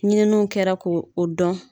Ɲininiw kɛra ko o dɔn.